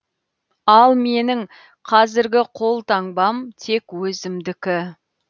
ал менің қазіргі қолтаңбам тек өзімдікі